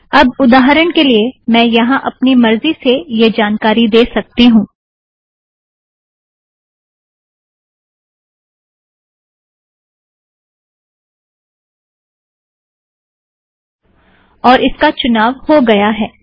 अब उदाहरण के लिए मैं यहाँ अपनी मर्ज़ी से यह जानकारी दे सकती हूँ और इसका चुनाव हो गया है